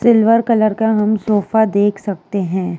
Silver colour हम sofa देख सकते हैं।